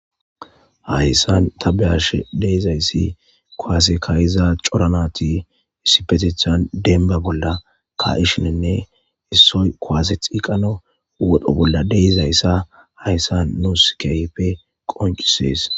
Hayisan ta be'ashe dizayisi kuase kaiza cora nati isipetetan denba bola kaishene isoy kuase xeqanawune wodho bola deizaysa hayisan nus kehipe qoncises.